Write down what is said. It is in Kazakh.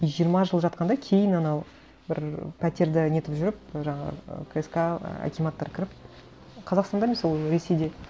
и жиырма жыл жатқан да кейін анау бір пәтерді нетіп жүріп жаңағы кск акиматтар кіріп қазақстанда емес ол ресейде